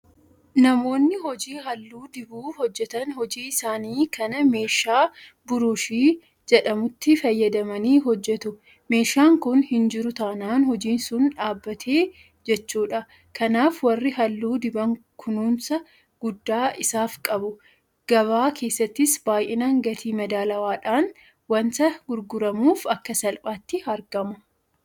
Namoonni hojii halluu dibuu hojjetan hojii isaanii kana meeshaa Buruushii jedhamutti fayyadamanii hojjetu. Meeshaan kun hinjiru taanaan hojiin sun dhaabbate jechuudha. Kanaaf warri halluu diban kunuunsa guddaa isaaf qabu. Gabaa keessattis baay'inaan gatii madaalawaadhaan waanta gurguramuuf akka salphaatti argama.